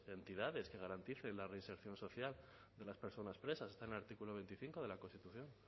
de entidades que garanticen la reinserción social de las personas presas está en el artículo veinticinco de la constitución